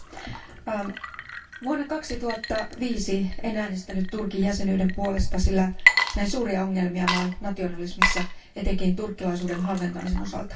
Arvoisa puhemies, vuonna 2005 en äänestänyt Turkin jäsenyyden puolesta, sillä näin suuria ongelmia maan nationalismissa, etenkin turkkilaisuuden halventamisen osalta.